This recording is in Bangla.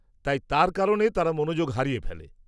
-তাই তার কারণে তারা মনোযোগ হারিয়ে ফেলে।